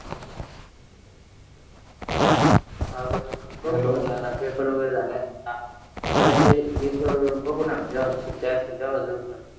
साग्याचे एक बघू ना